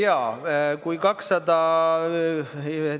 Jaa, kui 200 ...